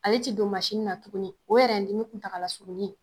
Ale ti don na tuguni o yɛrɛn dimi kuntagalasurunnin